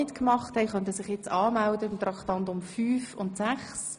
Deshalb gehen wir nun gleich fliessend zur Beratung der nächsten beiden Traktanden über.